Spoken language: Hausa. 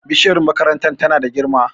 bishiyar makarantar tana da girma